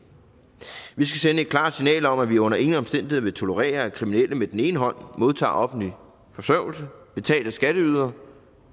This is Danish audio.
vi skal sende et klart signal om at vi under ingen omstændigheder vil tolerere at kriminelle med den ene hånd modtager offentlig forsørgelse betalt af skatteyderne